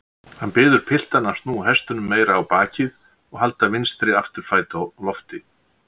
Hann biður piltana að snúa hestinum meira á bakið og halda vinstri afturfæti á lofti.